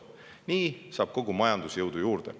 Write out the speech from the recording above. Nii saab kogu majandus jõudu juurde.